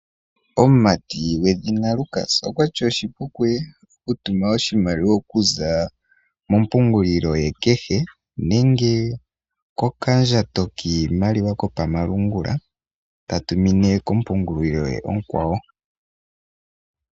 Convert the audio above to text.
Omumati gwedhina Lucas okwa ti oshipu kuye oku tuma oshimaliwa okuza mompungulilo ye kehe, nenge koka ndjato kiimaliwa kopama lungula, ta tumine kompungulilo ye onkwawo.